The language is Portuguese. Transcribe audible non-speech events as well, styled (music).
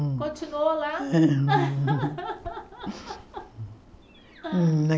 Continuou lá? É (laughs)